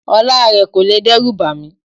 Ọlá rẹ kò lè dẹ́rùbà mí.